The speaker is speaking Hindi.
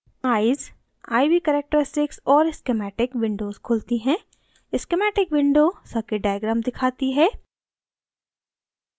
eyes: iv characteristics और schematic windows खुलती हैं schematic windows circuit diagram दिखाती है